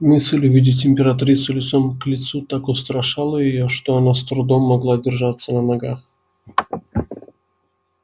мысль увидеть императрицу лицом к лицу так устрашала её что она с трудом могла держаться на ногах